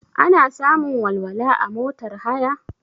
Ana samun walwala a motar haya?